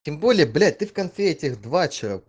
тем более блять ты в конфетах два